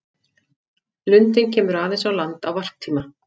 Lundinn kemur aðeins á land á varptíma.